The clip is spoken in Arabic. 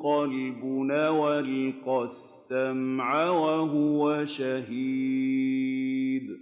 قَلْبٌ أَوْ أَلْقَى السَّمْعَ وَهُوَ شَهِيدٌ